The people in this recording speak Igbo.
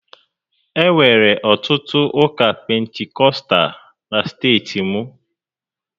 Enwere ọtụtụ ụka Pentikọstal na steeti m